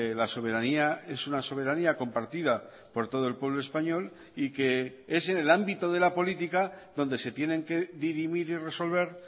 la soberanía es una soberanía compartida por todo el pueblo español y que es en el ámbito de la política donde se tienen que dirimir y resolver